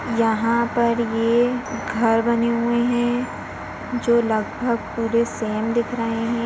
यहाँ पर ये घर बने हुए हैं जो लगभग पूरे सेम दिख रहे हैं।